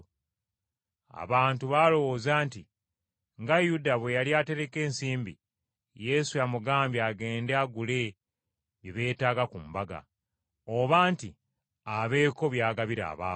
Abamu baalowooza nti nga Yuda bwe yali atereka ensimbi, Yesu amugambye agende agule bye beetaaga ku mbaga, oba nti abeeko by’agabira abaavu.